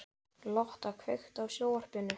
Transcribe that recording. Lotta, kveiktu á sjónvarpinu.